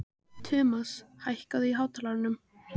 Tumas, hækkaðu í hátalaranum.